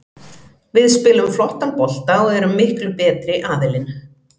Við spilum flottan bolta og erum miklu betri aðilinn.